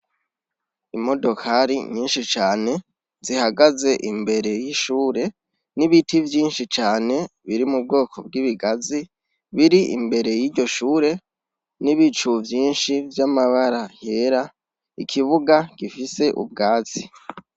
Imodokari nyinshi cane zihagaze imbere y'ishure n'ibiti vyinshi cane biri mu bwoko bw'ibigazi biri imbere y'iryo shure n'ibicu vyinshi vy'amabara yera ikibuga gifise ubwatsi.